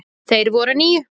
Þeir voru níu.